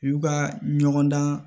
U ka ɲɔgɔndan